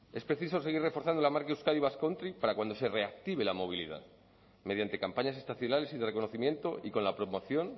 es preciso seguir reforzando la marca euskadi basque country para cuando se reactive la movilidad mediante campañas estacionales y de reconocimiento y con la promoción